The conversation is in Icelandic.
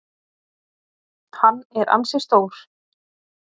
Hann er ansi stór.